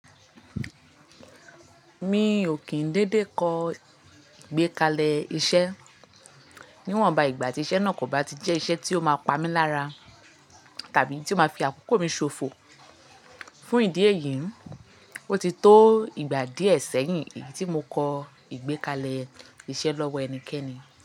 Mi ò kín dédé kọ ìgbékalẹ̀ iṣẹ́ níwọ̀n ba ìgbà tí iṣẹ́ náà kò bá ti jẹ́ iṣẹ́ tí ó máa pamí lára tàbí tí ó máa fi àkókò mi ṣòfò. Fún ìdí èyí, ó ti tó ìgbà díẹ̀ sẹ́yìn èyí tí mo kọ ìgbékalẹ̀ iṣẹ́ lọ́wọ́ ẹnikẹ́ni.